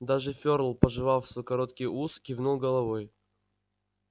даже ферл пожевав свой короткий ус кивнул головой